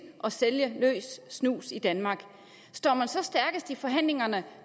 at sælge løs snus i danmark står man så stærkest i forhandlingerne